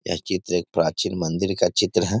यह चित्र एक प्राचीन मंदिर का चित्र है |